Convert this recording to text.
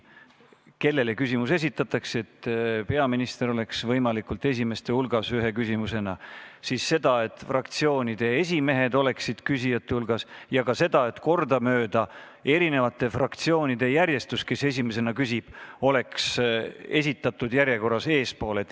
Ühelt poolt arvestatakse, et peaminister oleks vastajana võimalikult esimeste hulgas, siis seda, et fraktsioonide esimehed oleksid küsijate hulgas, ja ka seda, et eri fraktsioonid, kes on küsimuse esitanud, oleks kordamööda järjekorras eespool.